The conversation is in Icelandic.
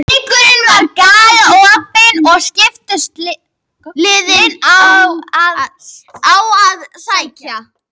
Leikurinn var galopinn og skiptust liðin á að sækja.